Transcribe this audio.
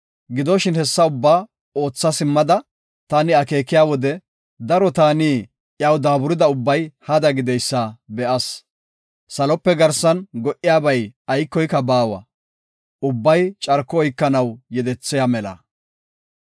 Gidoshin, hessa ubbaa ootha simmada taani akeekiya wode, daro taani iyaw daaburida ubbay hada gideysa be7as. Salope garsan go77iyabay aykoy baawa; ubbay carko oykanaw yedethiya mela.